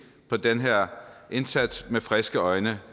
på den her indsats med friske øjne